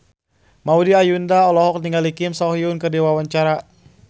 Maudy Ayunda olohok ningali Kim So Hyun keur diwawancara